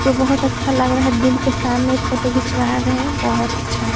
जो बहुत अच्‍छा लग रहा है दिल के सामने फोटो खिचवा रहे हैं बहुत अच्‍छा हैं ।